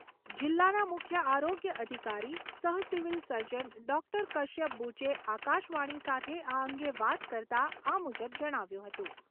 જિલ્લાના મુખ્ય આરોગ્ય અધિકારી સહ સિવિલ સર્જન ડૉક્ટર કશ્યપ બુચે આકાશવાણી સાથે આ અંગે વાત કરતા આ મુજબ જણાવ્યું હતું